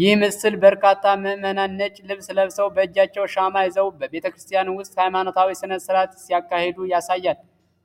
ይህ ምስል በርካታ ምዕመናን ነጭ ልብስ ለብሰው በእጃቸው ሻማ ይዘው በቤተክርስቲያን ውስጥ ሃይማኖታዊ ሥነ ሥርዓት ሲያካሂዱ ያሳያል።